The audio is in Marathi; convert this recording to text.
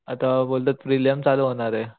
आता बोलतात प्रीलियम चालू होणारेय